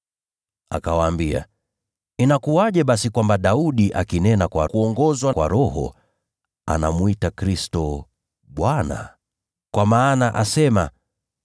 Akawaambia, “Inakuwaje basi kwamba Daudi, akinena kwa kuongozwa na Roho, anamwita Kristo ‘Bwana’? Kwa maana asema,